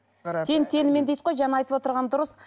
тең теңімен дейді ғой жаңа айтып отырғаны дұрыс